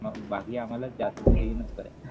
बाकी आम्हाला जास्तही नकोय हो